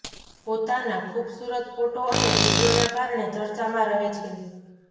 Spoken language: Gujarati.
પોતાના ખુબસુરત ફોટો અને વિડિયોના કારણે ચર્ચામાં રહે છે